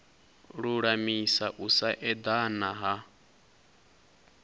lulamisa u sa edana ha